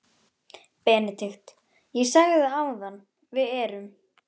BENEDIKT: Ég sagði það áðan: Við erum.